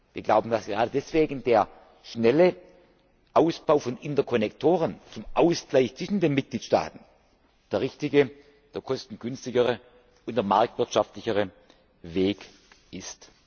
falsch. Wir glauben, dass gerade deswegen der schnelle Ausbau von Interkonnektoren zum Ausgleich zwischen den Mitgliedstaaten der richtige, der kostengünstigere und der marktwirtschaftlichere